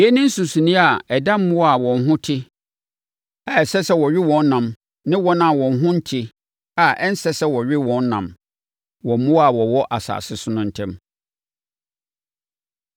Yei ne nsonsonoeɛ a ɛda mmoa a wɔn ho te a ɛsɛ sɛ wɔwe wɔn ɛnam ne wɔn a wɔn ho nte a ɛnsɛ sɛ wɔwe wɔn ɛnam wɔ mmoa a wɔwɔ asase so no ntam.’ ”